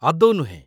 ଆଦୌ ନୁହେଁ !